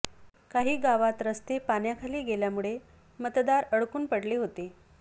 काही गावात रस्ते पाण्याखाली गेल्या मतदार अडकून पडले होते